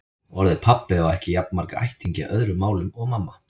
Orðið pabbi á ekki jafn marga ættingja í öðrum málum og mamma.